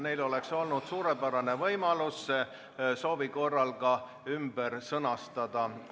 Neil oli suurepärane võimalus see soovi korral ümber sõnastada.